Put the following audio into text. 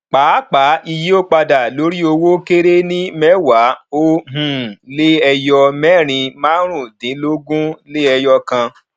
pàápàá iye ó padà lórí owó kéré ní mẹwàá ó um lé ẹyọ mẹrin márùnún dínlógún lé ẹyọ kan